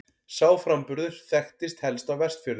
Sá framburður þekktist helst á Vestfjörðum.